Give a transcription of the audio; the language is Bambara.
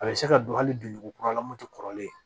A bɛ se ka don hali donjugu kura la moto kɔrɔlen